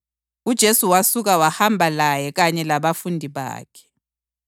UJesu wasuka wahamba laye kanye labafundi bakhe.